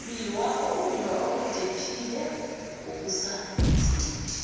ukumbiwa okudephile kokusansimbi